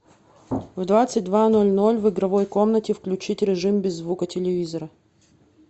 в двадцать два ноль ноль в игровой комнате включить режим без звука телевизора